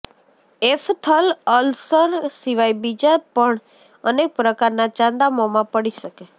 એફથલ ulcer સિવાય બીજા પણ અનેક પ્રકારના ચાંદા મોમાં પડી શકે